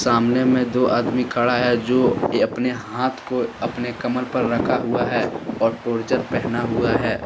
सामने में दो आदमी खड़ा है जो अपने हाथ को अपने कमर पर रखा हुआ है और टोरजर पहना हुआ है।